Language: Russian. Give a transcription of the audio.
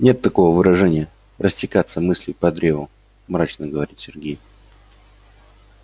нет такого выражения растекаться мыслью по древу мрачно говорит сергей